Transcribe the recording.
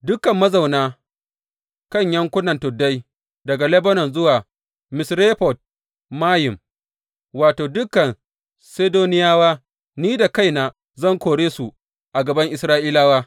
Dukan mazauna kan yankunan tuddai daga Lebanon zuwa Misrefot Mayim, wato, dukan Sidoniyawa, ni da kaina zan kore su a gaban Isra’ilawa.